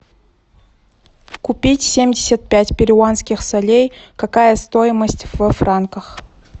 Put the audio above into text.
купить семьдесят пять перуанских солей какая стоимость во франках